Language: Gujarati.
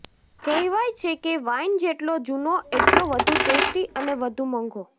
કહેવાય છે કે વાઇન જેટલો જૂનો એટલો વધુ ટેસ્ટી અને વધુ મોંઘો